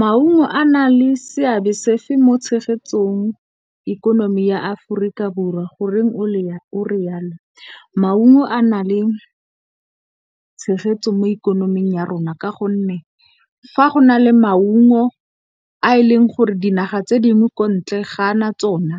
Maungo a na le seabe sefe mo tshegetsong ikonomi ya Aforika Borwa goreng o re yalo? Maungo a na le tshegetso mo ikonoming ya rona ka gonne, fa go na le maungo a e leng gore dinaga tse dingwe ko ntle ga a na tsona,